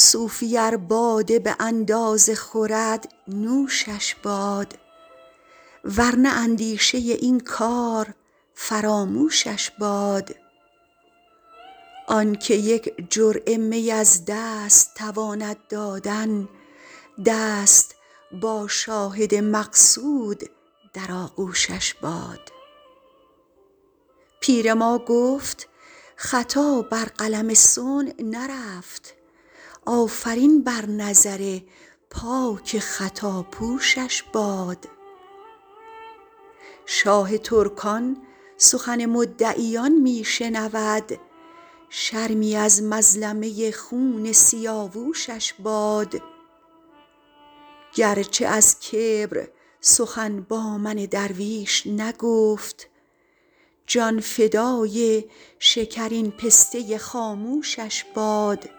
صوفی ار باده به اندازه خورد نوشش باد ور نه اندیشه این کار فراموشش باد آن که یک جرعه می از دست تواند دادن دست با شاهد مقصود در آغوشش باد پیر ما گفت خطا بر قلم صنع نرفت آفرین بر نظر پاک خطاپوشش باد شاه ترکان سخن مدعیان می شنود شرمی از مظلمه خون سیاوشش باد گر چه از کبر سخن با من درویش نگفت جان فدای شکرین پسته خاموشش باد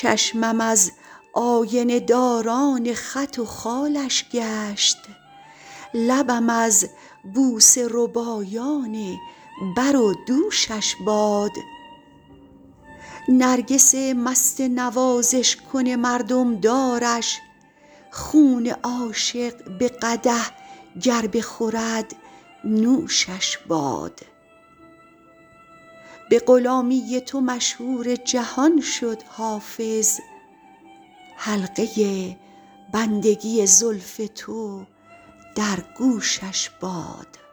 چشمم از آینه داران خط و خالش گشت لبم از بوسه ربایان بر و دوشش باد نرگس مست نوازش کن مردم دارش خون عاشق به قدح گر بخورد نوشش باد به غلامی تو مشهور جهان شد حافظ حلقه بندگی زلف تو در گوشش باد